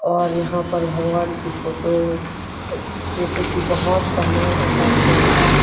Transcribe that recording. और यहां पर भगवान की फोटो जैसे की बहुत सामान रखा हुआ है।